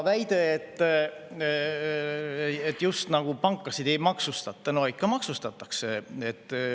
Väide, et pankasid ei maksustata – no ikka maksustatakse.